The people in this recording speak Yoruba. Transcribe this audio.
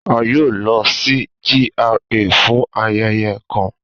A yoo lọ si GRA fun ayẹyẹ kan.